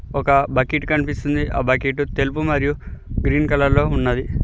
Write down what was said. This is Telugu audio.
ఒక బకిట్ కనిపిస్తున్నది ఆ బకెట్ తెలుపు మరియు గ్రీన్ కలర్ లో ఉన్నది.